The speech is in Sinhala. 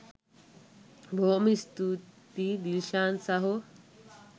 බොහොම ස්තූතියි දිල්ෂාන් සහෝ